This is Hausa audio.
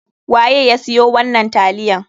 Waye ya siyo wannan taliyan?